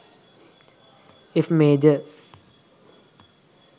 f major